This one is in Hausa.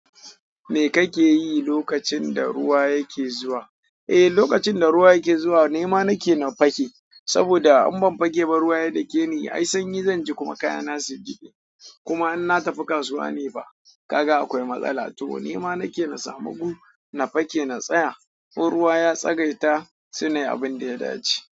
Me ka ke yi lokacin da ruwa yake zuwa? Eh, lokacin da ruwa yake zuwa, nema nake na fake. Saboda in ban fake ba, ruwa ya dake ni. Ai sanyi zanje, kuma kayana su jibe. Kuma in na tafi kasuwa nefa, kaga akwai matsala. To nema nake na samu gu, na fake na tsaya. In ruwa ya tsagaita, sai nayi abin da ya dace.